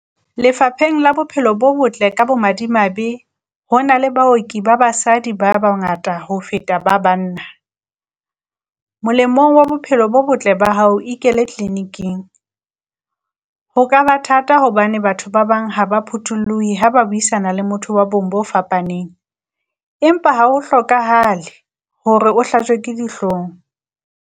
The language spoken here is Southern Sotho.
Lefapheng la bophelo bo Botle ka bo madimabe, ho na le baoki ba basadi ba bangata ho feta ba banna, molemong wa bophelo bo botle ba hao ikele tleniking. Ho ka ba thata hobane batho ba bang ha ba phuthulluhi ha ba buisana le motho wa bong bo fapaneng, empa ha ho hlokahale hore o hlajwe ke dihloong.